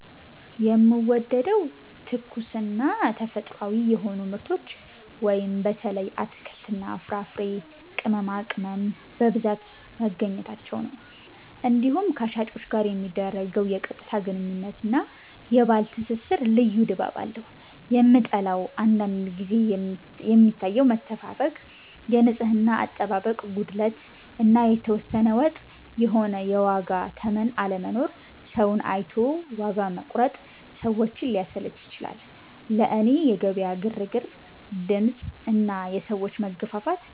የምወደደው፦ ትኩስና ተፈጥሯዊ የሆኑ ምርቶች (በተለይ አትክልትና ፍራፍሬ፣ ቅመማቅመም) በብዛት መገኘታቸው ነው። እንዲሁም ከሻጮች ጋር የሚደረገው የቀጥታ ግንኙነት እና የባህል ትስስር ልዩ ድባብ አለው። የምጠላው፦ አንዳንድ ጊዜ የሚታየው መተፋፈግ፣ የንጽህና አጠባበቅ ጉድለት እና የተወሰነ ወጥ የሆነ የዋጋ ተመን አለመኖር (ሰውን አይቶ ዋጋ መቁረጥ) ሰዎችን ሊያሰለች ይችላል። ለእኔ የገበያ ግርግር፣ ድምፅ እና የሰዎች መገፋፋት